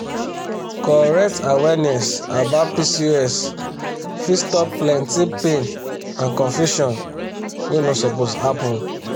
correct awareness about pcos fit stop plenty pain and confusion wey no suppose happen.